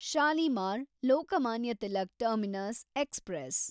Shalimar Lokmanya Tilak terminus express